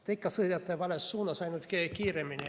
Te ikka sõidate vales suunas, ainult kiiremini.